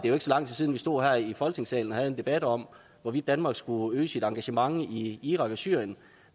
er så lang tid siden vi stod her i folketingssalen og havde en debat om hvorvidt danmark skulle øge sit engagement i irak og syrien